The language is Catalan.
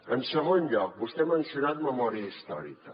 en segon lloc vostè ha mencionat memòria històrica